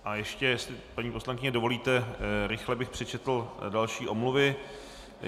A ještě jestli paní poslankyně dovolíte, rychle bych přečetl další omluvy.